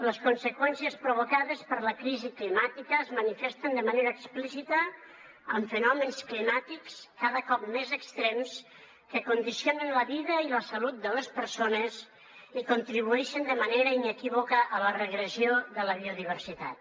les conseqüències provocades per la crisi climàtica es manifesten de manera explícita amb fenòmens climàtics cada cop més extrems que condicionen la vida i la salut de les persones i contribueixen de manera inequívoca a la regressió de la biodiversitat